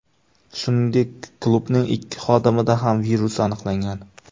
Shuningdek, klubning ikki xodimida ham virus aniqlangan.